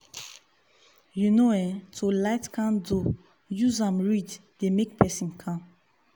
you know[um]to ligh candle useam read dey make person calm.